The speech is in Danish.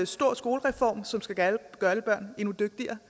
stor skolereform som skal gøre alle børn endnu dygtigere